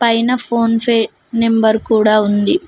పైనా ఫోన్ పె నెంబర్ కూడా ఉంది.